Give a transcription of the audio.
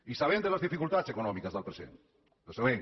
i sabem les dificultats econòmiques del present les sabem